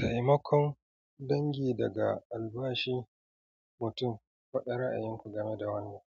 Taimakon dangi daga albashi mutum faɗa ra'ayin ku game da wannan.